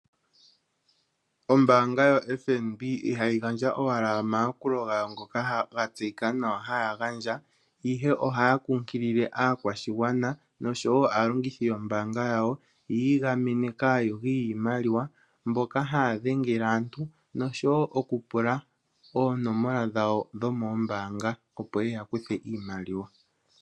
Ombanga yaFNB ihayi gandja owala omaakulo ngoka ga tseyika nawa haya gandja ihe oha ya kunkilile aakwashigwana oshowo aalongithi yombanga yawo yi igamene kaayugi yiimaliwa mboka haadhengele aantu noshowo okupula onomola dhawo dhomoombanga opo yeya kuthe iimaliwa.